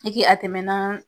E ke a tɛmɛna